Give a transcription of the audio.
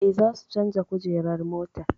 Eh, za su canja kujerar motar